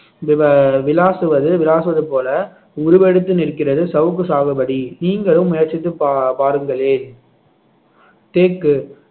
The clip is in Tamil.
விவ~ விளாசுவது விளாசுவது போல உருவெடுத்து நிற்கிறது சவுக்கு சாகுபடி நீங்களும் முயற்சித்து பா~ பாருங்களேன் தேக்கு